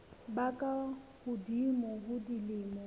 ba ka hodimo ho dilemo